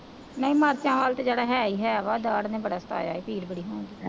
ਨਹੀਂ ਮਿਰਚਾਂ ਵੱਲ ਤਾਂ ਜਿਹੜਾ ਹੈ ਹੀ ਹੈ, ਦਾੜ੍ਹ ਨੇ ਬੜਾ ਸਤਾਇਆ, ਪੀੜ੍ਹ ਬੜੀ ਹੋਣ ਡੇਈ ਹੈ